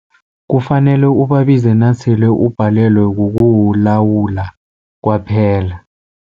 Kufanele ubabize nasele ubhalelwe kukuwulawula kwaphela.